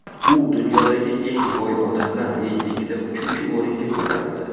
U dunyodagi eng boy odamlar reytingida uchinchi o‘ringa ko‘tarildi .